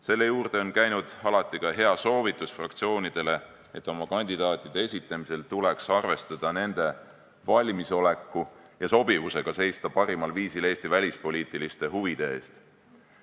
Selle juurde on käinud alati ka hea soovitus fraktsioonidele, et oma kandidaatide esitamisel tuleks arvestada nende valmisoleku ja sobivusega seista parimal viisil Eesti välispoliitiliste huvide eest.